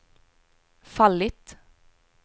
fallit